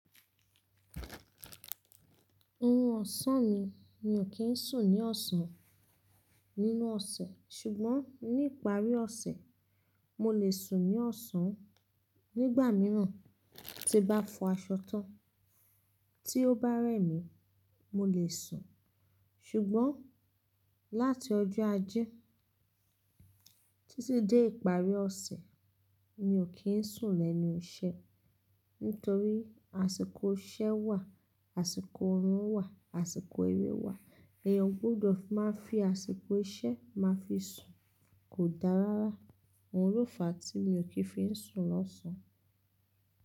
Òrún ọ̀sán mi, mi ò kí ń sùn ní ọ̀sán nínú ọ̀sẹ̀. Ṣùgbọ́n ní ìparí ọ̀sẹ̀, mo lè sùn ní ọ̀sán nígbà mìíràn. Tí bá fọ aṣọ tán tí ó bá rẹ mí, mo lè sùn. Ṣùgbọ́n láti ọjọ́ Ajé títí dé ìparí ọ̀sẹ̀, mi ò kí ń sùn lẹ́nu iṣẹ́. Nítorí àsìkò iṣẹ́ wà, àsìkò ọ̀rùn wà, àsìkò eré wà. Èèyàn gbọdọ̀ máa fi àsìkò iṣẹ́ máa fi sùn. Kò dáa rárá. Ohun ló fà á tí mi ò kí ń fi sùn lọ́sàn-án.